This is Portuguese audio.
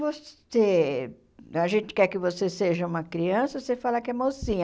Você a gente quer que você seja uma criança, você fala que é mocinha.